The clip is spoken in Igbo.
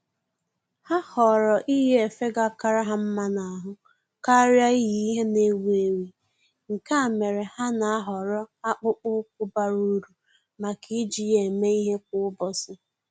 Ha họọrọ iyi efe ga akara ha mma n'ahụ karịa iyi ihe na-ewi ewi, nke a mere ha nà-àhọ́rọ́ akpụkpọ́ụkwụ́ bara uru màkà iji ya èmé ìhè kwa ụ́bọ̀chị̀